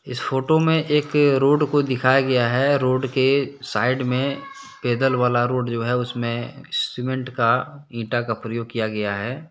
इस फोटो में एक रोड को दिखाया गया है। रोड के साइड में पैदल वाला रोड जो है उसमें सीमेंट का ईटा का प्रयोग किया गया है ।